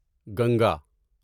Ganga